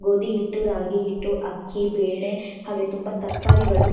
ಗೋಧಿ ಹಿಟ್ಟು ರಾಗಿ ಹಿಟ್ಟು ಅಕ್ಕಿ ಬೆಲೆ ಹಾಗೆ ತುಂಬಾ ತರಕಾರಿಗಳು--